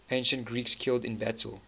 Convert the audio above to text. ancient greeks killed in battle